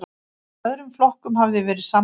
Í öðrum flokkum hafi verið samdráttur